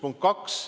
Punkt kaks.